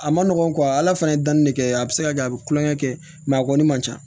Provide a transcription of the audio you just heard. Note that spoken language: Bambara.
A ma nɔgɔn ala fana ye danni de kɛ a bɛ se ka kɛ a bɛ kulonkɛ kɛ mɛ a kɔni man ca